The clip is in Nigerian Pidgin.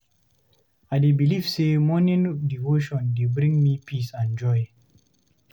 I dey believe say morning devotion dey bring me peace and joy.